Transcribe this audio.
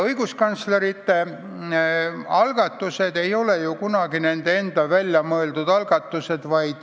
Õiguskantslerite algatused ei ole ju kunagi nende enda välja mõeldud algatused.